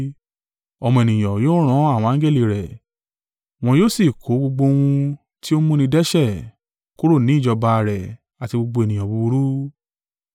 Ọmọ Ènìyàn yóò ran àwọn angẹli rẹ̀, wọn yóò sì kó gbogbo ohun tó ń mú ni dẹ́ṣẹ̀ kúrò ní ìjọba rẹ̀ àti gbogbo ènìyàn búburú.